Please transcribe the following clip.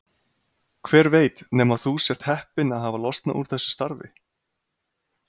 Hver veit nema þú sért heppinn að hafa losnað úr þessu starfi?